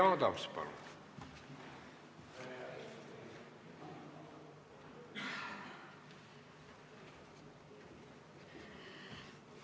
Jüri Adams, palun!